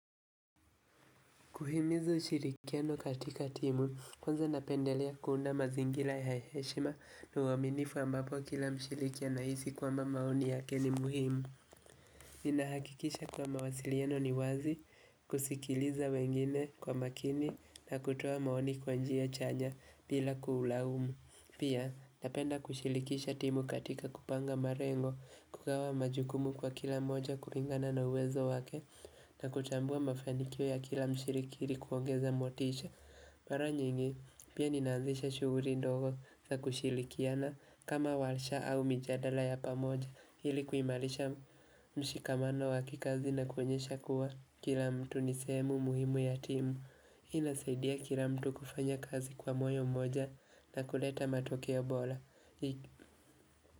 Kuhimiza ushirikiano katika timu, kwanza napendelea kuunda mazingira ya heshima uwaminifu ambapo kila mshiriki ana hisi kwamba maoni yake ni muhimu. Nina hakikisha kuwa mawasiliano ni wazi, kusikiliza wengine kwa makini na kutoa maoni kwa njia chanya bila kuulaumu. Pia, napenda kushilikisha timu katika kupanga marengo kukawa majukumu kwa kila mmoja kulingana na uwezo wake na kutambua mafanikio ya kila mshirikiri kuongeza motisha. Mara nyingi, pia nina anzisha shughuli ndogo za kushilikiana kama walisha au mijadala ya pamoja ili kuimalisha mshikamano wakikazi na kuonyesha kuwa kila mtu nisehemu muhimu ya timu. Inasaidia kila mtu kufanya kazi kwa moyo mmoja na kuleta matokeo bora.